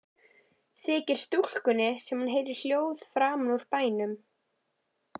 Þykir stúlkunni sem hún heyri hljóð framan úr bænum.